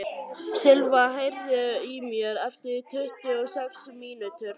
Silva, heyrðu í mér eftir tuttugu og sex mínútur.